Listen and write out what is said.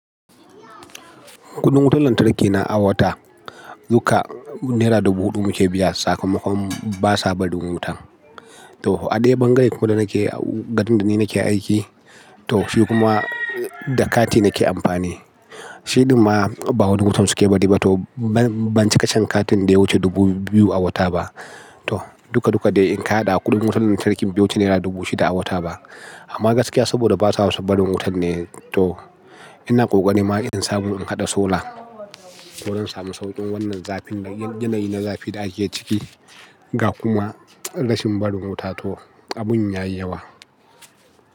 Kuɗin wutar lantarki na a wata duka naira dubu huɗu muke biya sakamakon basa barin wuta. To a da bangae ko garin da ni nake aiki, to shi kuma da kati nake amfani. Shiɗin ma ba waɗansu suke bari ba to ban cika shan katin da ya wuce dubu biyu a wata ba. To duka duka dai in ka haɗa kuɗin wutar lantarki bai wuce naira dubu shida a wata ba. Amma gaskiya saboda basa son barin wutan ne, to ina ƙoƙari ma in samu in haɗa sola. To zan samu sauƙin wannan zafin yanayi na zafi da ake ciki ga kuma rashin barin wuta to abun ya yi yawa.